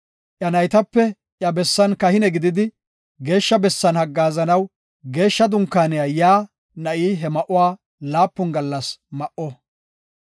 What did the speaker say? Iya naytape iya bessan kahine gididi, Geeshsha bessan haggaazanaw Geeshsha Dunkaaniya yaa na7i he ma7uwa laapun gallas ma7o.